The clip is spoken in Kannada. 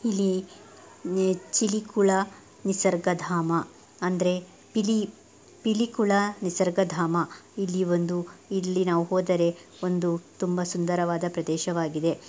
ಇಲ್ಲಿ ಈ ಚಿಳಿ ಕೂಳ ನಿಸರ್ಗಧಾಮ ಅಂದ್ರೆ ಪಿಲಿ ಪಿಲಿ ಕುಳ ನಿಸರ್ಗಧಾಮ. ಇಲ್ಲಿ ಒಂದು ಇಲ್ಲಿ ನಾವು ಹೋದರೆ ಒಂದು ತುಂಬಾ ಸುಂದರವಾದ ಪ್ರದೇಶವಾಗಿದೆ.